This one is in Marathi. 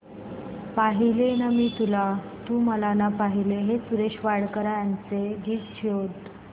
पाहिले ना मी तुला तू मला ना पाहिले हे सुरेश वाडकर यांचे गीत शोध